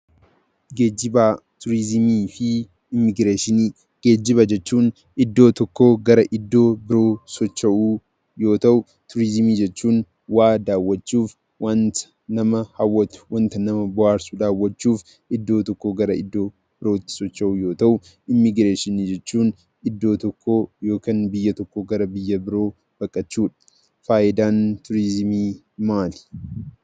Geejiba turizimii fi immigireeshinii Geejiba jechuun iddoo tokkoo gara iddoo biroo socho'uu yoo ta'u, turizimii jechuun waa daawwachuuf waanta nama hawwatu, nama bohaarsu dawwachuuf iddoo tokkoo gara iddoo biraatti socho'uu yoo ta'u, immigireeshinii jechuun iddoo tokkoo gara iddoo yookaan biyya birootti baqachuu. Fayidaan turizimii maali?